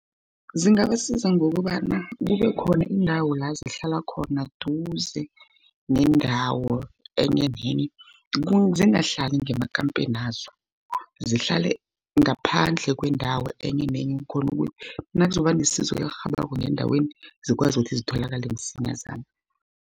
Zingabasiza ngokobana kube khona indawo la zihlala khona duze nendawo enye nenye. Ukuze zingahlali ngemakampenazo. Zihlale ngaphandle kwendawo enye nenye, khona ukuthi nakuzokuba nesizo elirhabako endaweni zikwazi ukuthi zitholakale msinyazana.